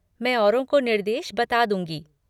मैं औरों को निर्देश बता दूँगी।